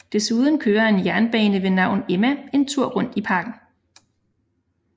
Desuden kører en jernbane ved navn Emma en tur rundt i parken